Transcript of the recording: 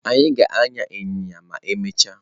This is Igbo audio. Anyị ga-agba ịnyịnya ma emechaa.